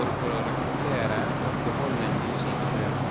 både for å rekruttere og beholde nye sykepleiere.